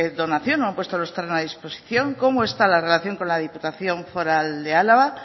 donación o han puesto los terrenos a disposición cómo está la relación con la diputación foral de álava